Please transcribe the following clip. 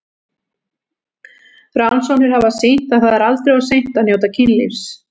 Rannsóknir hafa sýnt að það er aldrei of seint að njóta kynlífs.